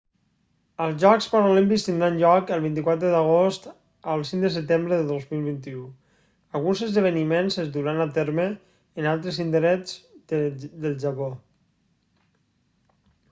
els jocs paralímpics tindran lloc del 24 d'agost al 5 de setembre del 2021 alguns esdeveniments es duran a terme en altres indrets del japó